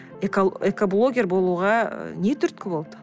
экоблогер болуға не түрткі болды